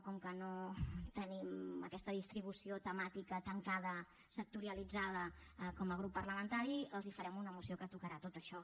com que no tenim aquesta distribució temàtica tancada sectorialitzada com a grup parlamentari els farem una moció que tocarà tot això